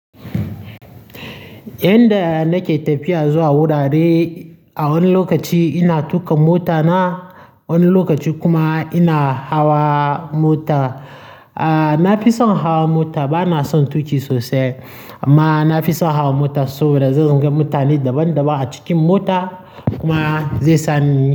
Yanda nake tafiya zuwa wurare, a wani lokaci ina tuƙa mota na, wani lokaci kuma ina hawa mota. Na fi son hawa mota, ba na son tuƙi sosai. Amma na fi son hawa mota saboda zan gan mutane daban daban a cikin mota kuma zai sa ni.